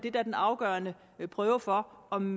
er den afgørende prøve for om